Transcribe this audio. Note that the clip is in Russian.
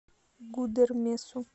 гудермесу